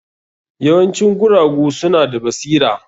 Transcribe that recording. Yawancin guragu suna da basira.